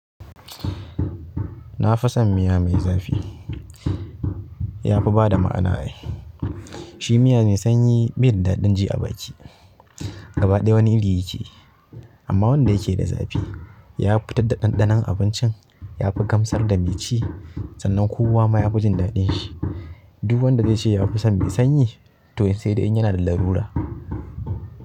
Na fi son miya mai zafi ya fi ba da ma'ana ai. Shi miya ne sanyi be da daɗin ci a baki, gaba ɗaya wani iri yake. Amma wanda yake da zafi ya fi fittar da ɗanɗanon abincin, ya fi gamsar da mai ci, sannan kowa ma ya fi jin daɗin shi. Duk wanda zai ce ya fi son mai sanyi to sedai in yanada lalura.